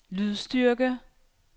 lydstyrke